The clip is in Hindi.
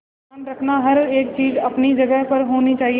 ध्यान रखना हर एक चीज अपनी जगह पर होनी चाहिए